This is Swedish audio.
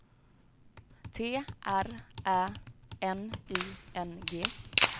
T R Ä N I N G